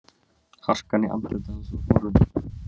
Harkan í andliti hans var horfin.